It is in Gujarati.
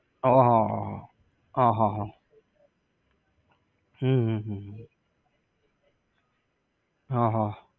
હા હા હા હા. હા હા હા. હમ હમ હમ હમ હા હ